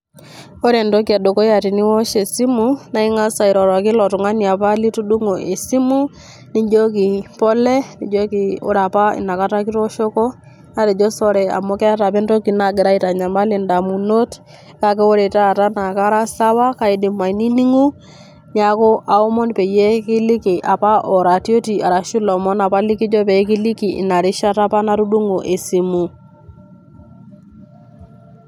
Ore entoki e dukuya teniwosh esimu, ning'asa airoroki ilo tung'ani apa litudung'o e simu, nijoki pole, nijoki ore apa inakata kitooshoko natejo sore amu keeta apa entoki nagira aitanyamal indamunot naake ore taata kataa sawa kaidim ainining'o, neeku aomon peyie kiliki apa oratioti arashu ilomon apa lekijo pee kiliki ina rishata apa natudung'o esimu.